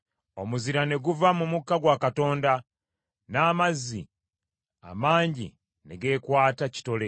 Omuzira ne guva mu mukka gwa Katonda n’amazzi amangi ne gekwata kitole.